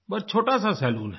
बहुत छोटा सा सलून है